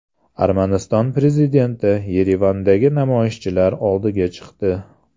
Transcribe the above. Armaniston prezidenti Yerevandagi namoyishchilar oldiga chiqdi.